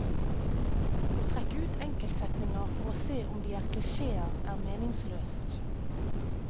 Å trekke ut enkeltsetninger for å se om de er klisjéer er meningsløst.